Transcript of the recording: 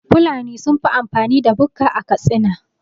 Fulani sunfi amfani da bukka a Katsina